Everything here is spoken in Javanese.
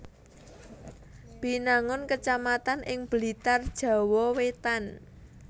Binangun kecamatan ing Blitar Jawa Wétan